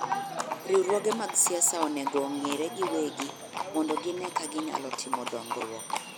Riwruoge mag siasa onego ong'ire giwegi mondo gine ka ginyalo timo dongruok.